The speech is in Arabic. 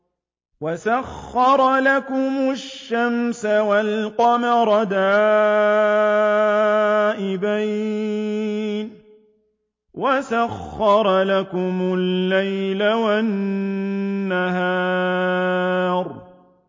وَسَخَّرَ لَكُمُ الشَّمْسَ وَالْقَمَرَ دَائِبَيْنِ ۖ وَسَخَّرَ لَكُمُ اللَّيْلَ وَالنَّهَارَ